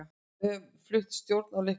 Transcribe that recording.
Við höfðum fulla stjórn á leiknum.